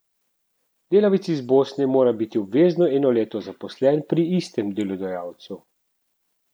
Delavec iz Bosne mora biti obvezno eno leto zaposlen pri istem delodajalcu.